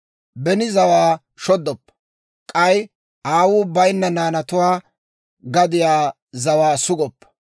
Beni zawaa shoddoppa; k'ay aawuu bayinna naanatuwaa gadiyaa zawaa sugoppa;